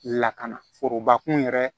Lakana forobakun yɛrɛ